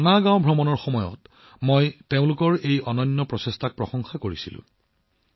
মানা গাঁও ভ্ৰমণৰ সময়ত তেওঁলোকৰ অনন্য প্ৰচেষ্টাৰ শলাগ লৈছিলোঁ